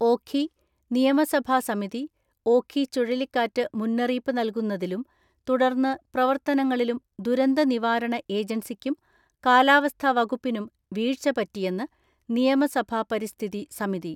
ഓഖി, നിയമസഭാ സമിതി, ഓഖി ചുഴലിക്കാറ്റ് മുന്നറിയിപ്പ് നൽകുന്നതിലും തുടർന്ന് പ്രവർത്തനങ്ങളിലും ദുരന്തനിവാരണ ഏജൻസിക്കും കാലാവസ്ഥാവകുപ്പിനും വീഴ്ച പറ്റിയെന്ന് നിയമസഭാ പരിസ്ഥിതി സമിതി.